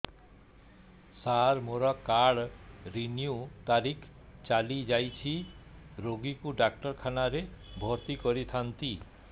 ସାର ମୋର card renew ତାରିଖ ଚାଲି ଯାଇଛି ରୋଗୀକୁ ଡାକ୍ତରଖାନା ରେ ଭର୍ତି କରିଥାନ୍ତି